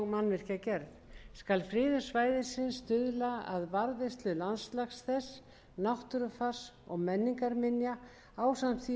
mannvirkjagerð skal friðun svæðisins stuðla að varðveislu landslags þess náttúrufars og menningarminja ásamt því